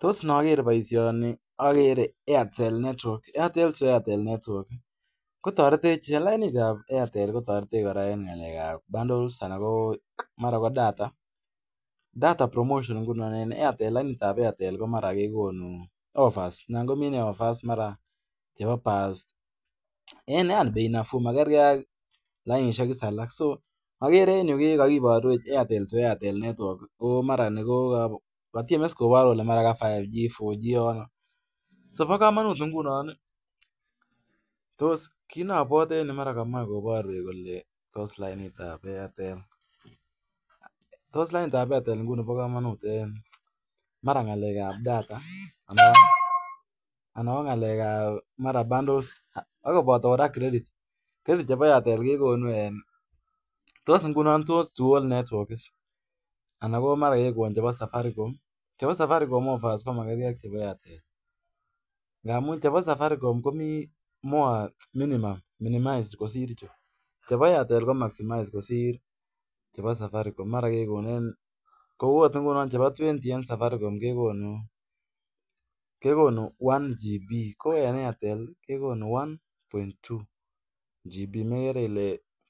Tos ne agere baisyoni agere Airtel to Airtel etwork . Toretech en ng'alek ab bundles, data. Tindo offers chebo bei nafuu. Magerge ak lainishek age. Mara komae koborwech tos lainit ap Airtel.